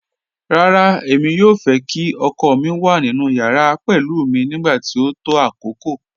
Rárá, èmi yòò fẹ́ kí ọkọ mi wà nínu yàrà pẹ̀lú mi nígbàtí o tó àkókò